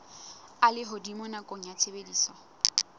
a lehodimo nakong ya tshebediso